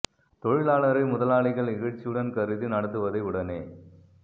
தொழிலாளரை முதலாளிகள் இகழ்ச்சியுடன் கருதி நடத்துவதை உடனே